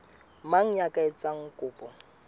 mang ya ka etsang kopo